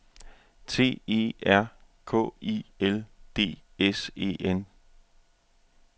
T E R K I L D S E N